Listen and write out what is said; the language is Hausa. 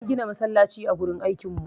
An gina masallaci a wajen aikin mu